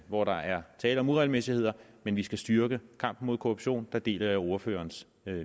hvor der er tale om uregelmæssigheder men vi skal styrke kampen mod korruption der deler jeg ordførerens